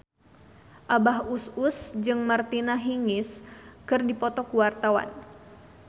Abah Us Us jeung Martina Hingis keur dipoto ku wartawan